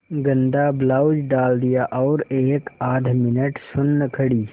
गंदा ब्लाउज डाल दिया और एकआध मिनट सुन्न खड़ी